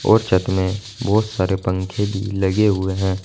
और छत में बहुत सारे पंखे भी लगे हुए हैं।